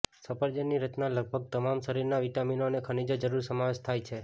સફરજન ની રચના લગભગ તમામ શરીર વિટામિનો અને ખનિજો જરૂર સમાવેશ થાય છે